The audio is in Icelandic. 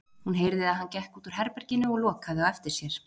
Hún heyrði að hann gekk út úr herberginu og lokaði á eftir sér.